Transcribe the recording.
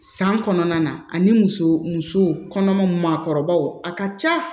San kɔnɔna na ani muso muso kɔnɔmaw maakɔrɔbaw a ka ca